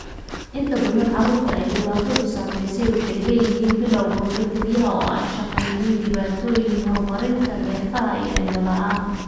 Inta badan carruurta ay dhibaatadu saameysey waxay leeyihiin bilawga hore, kelyaha oo aan shaqeynin; dhibaatooyinka horumarinta neerfaha; iyo indho la'aan.